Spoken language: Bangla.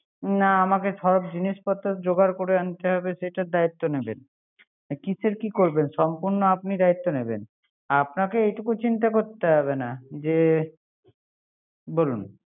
না আমাকে সব জিনিসপত্র যোগার করে আনতে হবে, যেটার দায়িত্ব নিবেন কিসে কি করবেন সম্পূর্ন আপনার দায়িত্ব নিবেন। আপনাকে এটুকু চিন্তা করতে হবে না। যে